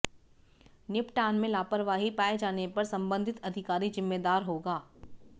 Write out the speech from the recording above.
निपटान में लापरवाही पाए जाने पर संबंधित अधिकारी जिम्मेदार होगा